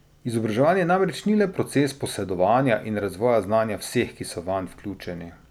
Izobraževanje namreč ni le proces posedovanja in razvoja znanja vseh, ki so vanj vključeni.